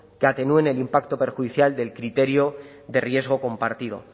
que atenúen el impacto perjudicial del criterio de riesgo compartido